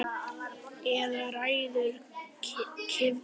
Eða ræður kylfa kasti?